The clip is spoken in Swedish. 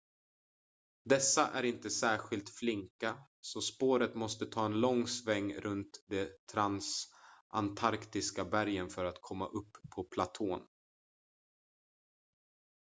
dessa är inte särskilt flinka så spåret måste ta en lång sväng runt de transantarktiska bergen för att komma upp på platån